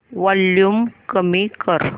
volume कमी कर